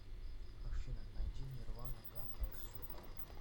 афина найди нирвана кам эс ю а